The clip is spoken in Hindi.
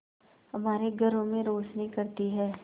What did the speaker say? हमारे घरों में रोशनी करती है